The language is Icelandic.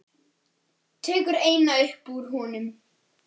Tekur eina upp úr honum.